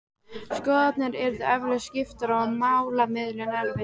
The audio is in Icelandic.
Skoðanir yrðu eflaust skiptar og málamiðlun erfið.